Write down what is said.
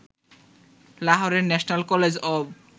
লাহোরের national college of